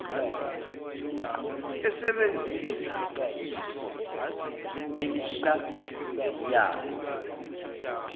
esebenzisa iso elihlaziyayo